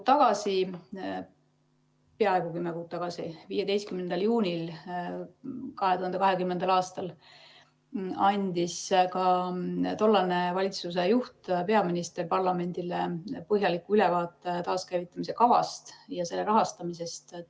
Peaaegu kümme kuud tagasi, 15. juunil 2020. aastal andis ka tollane valitsusjuht, peaminister, parlamendile põhjaliku ülevaate taaskäivitamise kavast ja selle rahastamisest.